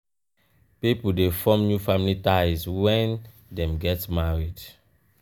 pipo de form new family ties when dem get married